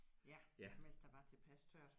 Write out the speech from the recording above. Ja mens der var tilpas tørt